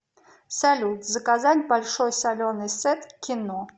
салют заказать большой соленый сет к кино